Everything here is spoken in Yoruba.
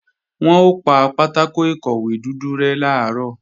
Wọn ó pa pátákò ìkọ̀wé dúdú rẹ́ làárọ̀